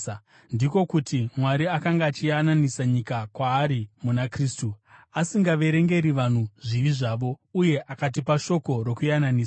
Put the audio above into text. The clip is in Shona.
ndiko kuti Mwari akanga achiyananisa nyika kwaari muna Kristu, asingaverengeri vanhu zvivi zvavo. Uye akatipa shoko rokuyananisa.